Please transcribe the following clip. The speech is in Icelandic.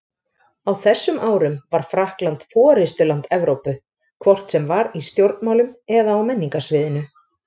Á þessum árum var Frakkland forystuland Evrópu, hvort sem var í stjórnmálum eða á menningarsviðinu.